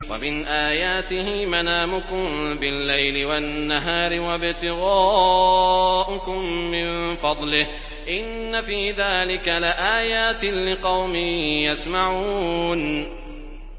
وَمِنْ آيَاتِهِ مَنَامُكُم بِاللَّيْلِ وَالنَّهَارِ وَابْتِغَاؤُكُم مِّن فَضْلِهِ ۚ إِنَّ فِي ذَٰلِكَ لَآيَاتٍ لِّقَوْمٍ يَسْمَعُونَ